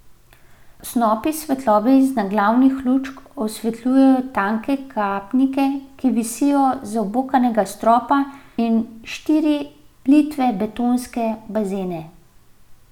Snopi svetlobe iz naglavnih lučk osvetljujejo tanke kapnike, ki visijo z obokanega stropa, in štiri plitve betonske bazene.